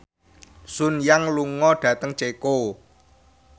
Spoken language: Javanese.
Sun Yang lunga dhateng Ceko